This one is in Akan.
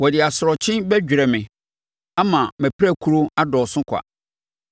Ɔde asorɔkye bɛdwerɛ me ama mʼapirakuro adɔɔso kwa.